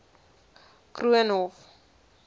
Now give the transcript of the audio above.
koornhof